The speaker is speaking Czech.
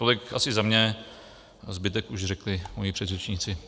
Tolik asi za mě, zbytek už řekli moji předřečníci.